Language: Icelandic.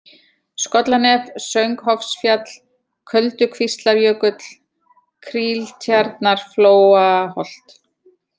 Skollanef, Sönghofsfjall, Köldukvíslarjökull, Kríltjarnarflóaholt